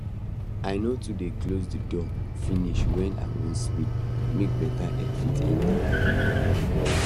i no too dey close d door finish when i wan sleep make better air fit enter